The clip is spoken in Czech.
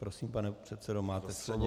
Prosím, pane předsedo, máte slovo.